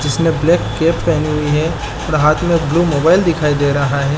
जिसने black cap पहनी हुई है और हाथ में ब्लू मोबाइल दिखाई दे रहा हैं ।